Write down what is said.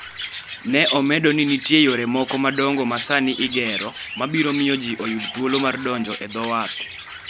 Ne omedo ni nitie yore moko madongo ma sani igero, mabiro miyo ji oyud thuolo mar donjo e dho wath.